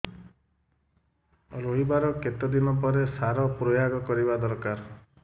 ରୋଈବା ର କେତେ ଦିନ ପରେ ସାର ପ୍ରୋୟାଗ କରିବା ଦରକାର